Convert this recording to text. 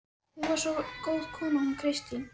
Hún var svo góð kona hún Kristín.